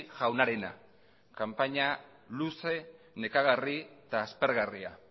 jaunarena kanpaina luze nekagarri eta aspergarria